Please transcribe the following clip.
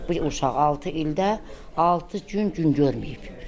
Bu uşaq altı ildə altı gün gün görməyib.